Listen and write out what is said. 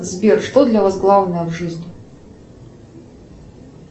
сбер что для вас главное в жизни